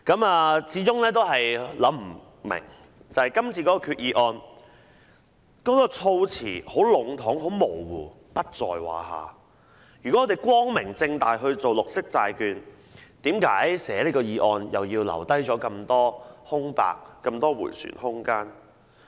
我始終想不明為何今次的決議案措辭如何籠統模糊，如果政府光明正大推行綠色債券，為何這項決議案要留下這麼多空白和迴旋空間呢？